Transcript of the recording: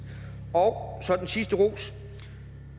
og så den sidste ros